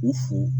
U fo